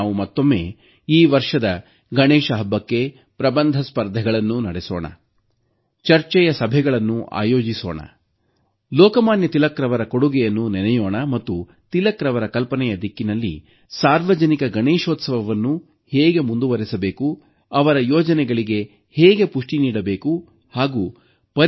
ನಾವು ಮತ್ತೊಮ್ಮೆ ಈ ವರ್ಷದ ಗಣೇಶ ಹಬ್ಬಕ್ಕೆ ಪ್ರಬಂಧ ಸ್ಪರ್ಧೆಗಳನ್ನು ನಡೆಸೋಣ ಚರ್ಚೆಯ ಸಭೆಗಳನ್ನು ಆಯೋಜಿಸೋಣ ಲೋಕಮಾನ್ಯ ತಿಲಕ್ ಅವರ ಕೊಡುಗೆಯನ್ನು ನೆನೆಯೋಣ ಮತ್ತು ತಿಲಕ್ ಅವರ ಕಲ್ಪನೆಯ ದಿಕ್ಕಿನಲ್ಲಿ ಸಾರ್ವಜನಿಕ ಗಣೇಶೋತ್ಸವವನ್ನು ಹೇಗೆ ಮುಂದುವರಿಸಬೇಕು ಅವರ ಯೋಚನೆಗಳಿಗೆ ಹೇಗೆ ಪುಷ್ಟಿ ನೀಡಬೇಕು ಎಂದು ಚಿಂತಿಸೋಣ